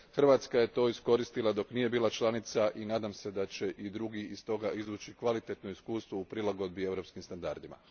Hrvatska je to iskoristila dok nije bila članica i nadam se da će i drugi iz toga izvući kvalitetno iskustvo u prilagodbi europskim standardima.